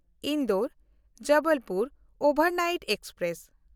ᱤᱱᱫᱳᱨ-ᱡᱚᱵᱚᱞᱯᱩᱨ overnight express